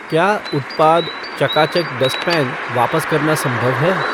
क्या उत्पाद चका चक डस्ट पैन वापस करना संभव है?